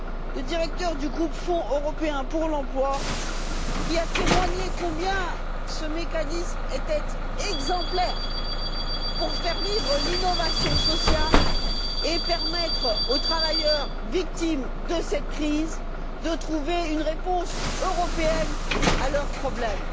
Le directeur du groupe Fonds européen pour l'emploi a témoigné combien ce mécanisme était exemplaire pour faire vivre l'innovation sociale et permettre aux travailleurs victimes de cette crise de trouver une réponse européenne à leurs problèmes.